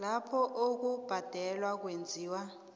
lapho ukubhadela kwenziwa